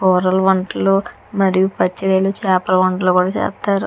కూరలు వంటలు మరియు పచ్చి రొయ్యలు చాపలు కూడా చేస్తారు.